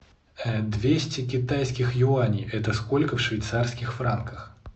двести китайских юаней это сколько в швейцарских франках